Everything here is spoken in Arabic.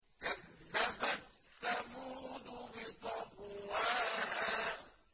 كَذَّبَتْ ثَمُودُ بِطَغْوَاهَا